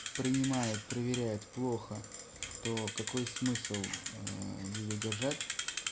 принимают проверяет плохо то какой смысл её держать